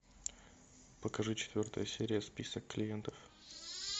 покажи четвертая серия список клиентов